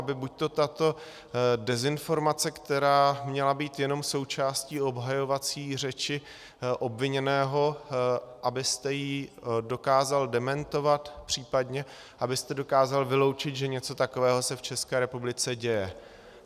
Aby buďto tato dezinformace, která měla být jenom součástí obhajovací řeči obviněného, abyste ji dokázal dementovat, případně abyste dokázal vyloučit, že něco takového se v České republice děje.